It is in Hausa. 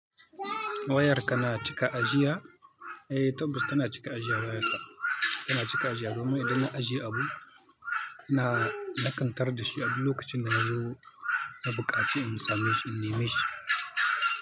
Wayar ka na cika ajiya? Eh, tabbas tana cika ajiya waya ta, tana cika ajiya. Domin idan na ajiye abu, na, na kan kar da shi a duk lokacin da na zo na buƙaci, in sami shi, in nemi shi.